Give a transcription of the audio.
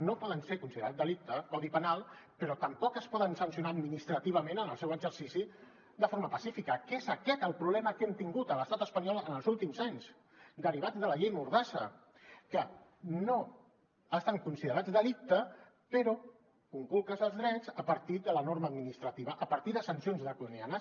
no poden ser considerats delicte codi penal però tampoc es poden sancionar administrativament en el seu exercici de forma pacífica que és aquest el problema que hem tingut a l’estat espanyol en els últims anys deri·vat de la llei mordassa que no estan considerats delicte però conculques els drets a partir de la norma administrativa a partir de sancions draconianes